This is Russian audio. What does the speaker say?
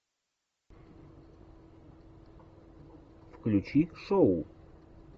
включи шоу